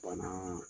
Bana